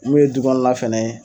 mun ye du kɔɔla fɛnɛ ye